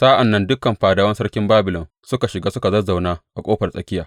Sa’an nan dukan fadawan sarkin Babilon suka shiga suka zazzauna a Ƙofar Tsakiya.